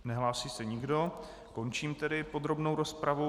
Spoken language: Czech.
Nehlásí se nikdo, končím tedy podrobnou rozpravu.